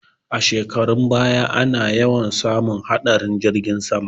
A shekarun baya ana yawan samun hatsarin jirgin sama